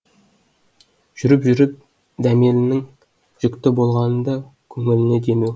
жүріп жүріп дәмелінің жүкті болғаны да көңіліне демеу